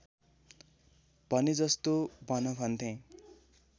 भनेजस्तो भन भन्थे